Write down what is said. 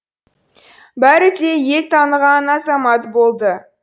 бәрі де ел таныған азамат болды